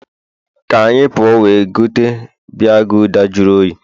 ka anyị puo we gote biya gulder jụrụ oyi